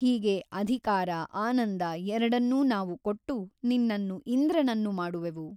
ಹೀಗೆ ಅಧಿಕಾರ ಆನಂದ ಎರಡನ್ನೂ ನಾವು ಕೊಟ್ಟು ನಿನ್ನನ್ನು ಇಂದ್ರನನ್ನು ಮಾಡುವೆವು.